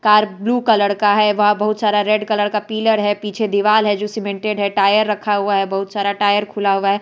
Car blue colour का है वहां बहुत सारा रेड कलर का पिलर है पीछे दीवाल है जो सीमेंटेड है टायर रखा हुआ है बहुत सारा टायर खुला हुआ है।